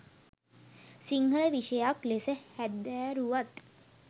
සිංහල විෂයයක් ලෙස හැදෑරුවත්